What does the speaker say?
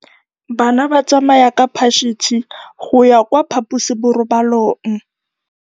Bana ba tsamaya ka phašitshe go ya kwa phaposiborobalong.